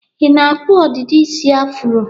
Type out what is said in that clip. Ị na-akpụ ọdịdị isi afuro?